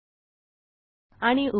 Google website bookmark झाली आहे